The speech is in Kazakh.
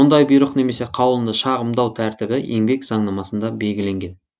мұндай бұйрық немесе қаулыны шағымдау тәртібі еңбек заңнамасында белгіленген